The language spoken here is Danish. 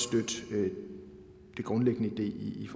støtte den grundlæggende idé i